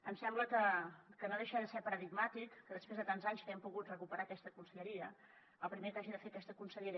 em sembla que no deixa de ser paradigmàtic que després de tants anys que hem pogut recuperar aquesta conselleria el primer que hagi de fer aquesta consellera